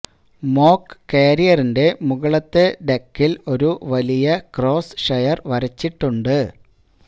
mock കാരിയറിന്റെ മുകളിലത്തെ ഡെക്കിൽ ഒരു വലിയ ക്രോസ് ഷെയർ വരച്ചിട്ടുണ്ട്